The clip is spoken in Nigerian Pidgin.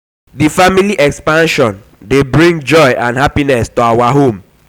di family expansion dey bring joy and happiness to our home.